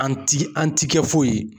An ti an ti kɛ foyi ye.